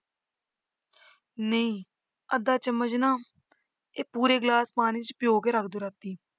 ਨਹੀਂ ਅੱਧਾ ਚਮਚ ਨਾ ਇਹ ਪੂਰੇ ਗਲਾਸ ਪਾਣੀ ਚ ਭਿਓਂ ਕੇ ਰੱਖ ਦਓ ਰਾਤੀ।